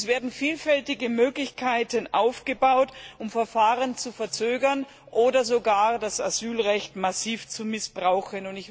Es werden vielfältige Möglichkeiten aufgebaut, um Verfahren zu verzögern oder sogar das Asylrecht massiv zu missbrauchen.